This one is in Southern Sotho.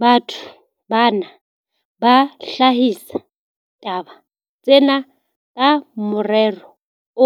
Batho bana ba hlahisa taba tsena ka morero